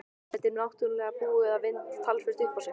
Þetta er náttúrlega búið að vinda talsvert upp á sig.